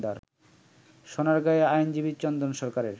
সোনারগাঁওয়ে আইনজীবী চন্দন সরকারের